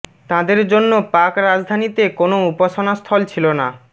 তাঁদের জন্য পাক রাজধানীতে কোনও উপাসনা স্থল ছিল না